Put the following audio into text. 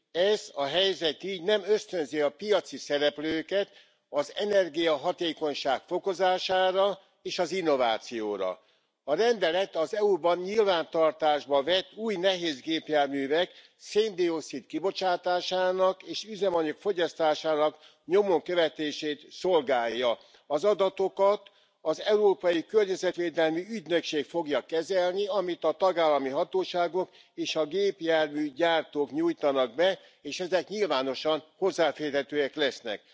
Ez a helyzet így nem ösztönzi a piaci szereplőket az energiahatékonyság fokozására és az innovációra. A rendelet az EU ban nyilvántartásba vett új nehézgépjárművek széndioxid kibocsátásának és üzemanyag fogyasztásának nyomon követését szolgálja. Az adatokat az Európai Környezetvédelmi Ügynökség fogja kezelni, amit a tagállami hatóságok és a gépjárműgyártók nyújtanak be, és ezek nyilvánosan hozzáférhetőek lesznek.